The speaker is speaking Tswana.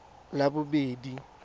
labobedi